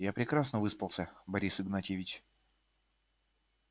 я прекрасно выспался борис игнатьевич